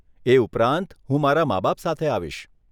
એ ઉપરાંત, હું મારા માબાપ સાથે આવીશ.